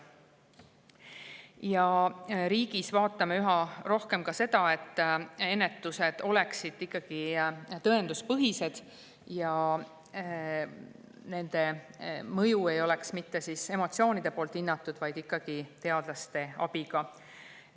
Ja me vaatame riigis üha rohkem ka seda, et ennetus oleks ikkagi tõenduspõhine ja selle mõju ei hinnataks mitte emotsioonide põhjal, vaid teadlaste abiga.